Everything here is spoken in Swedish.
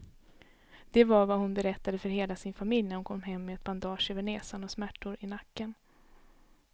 Det var vad hon berättade för hela sin familj när hon kom hem med ett bandage över näsan och smärtor i nacken.